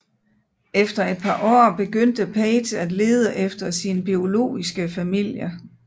Efter et par år begyndte Paige at lede efter sin biologiske familie